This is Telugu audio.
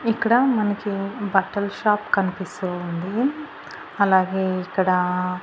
ఇక్కడ మనకి బట్టల షాప్ కనిపిస్తూ ఉంది అలాగే ఇక్కడ--